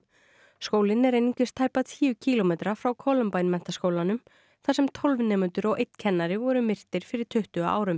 skólinn er einungis tæpa tíu kílómetra frá menntaskólanum þar sem tólf nemendur og einn kennari voru myrtir fyrir tuttugu árum